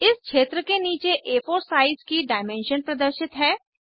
इस क्षेत्र के नीचे आ4 साइज की डायमेंशन प्रदर्शित हैं